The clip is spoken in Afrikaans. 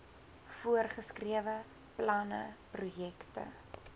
voorgeskrewe planne projekte